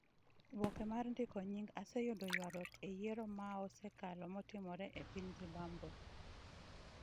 Oboke mar ndiko nying' oseyudo ywarruok e yiero maosekalo matimore e piny Zimbabwe.